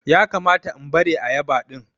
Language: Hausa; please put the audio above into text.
ya kamata in bare ayaba din?